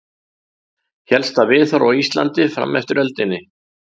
Hélst það viðhorf á Íslandi fram eftir öldinni.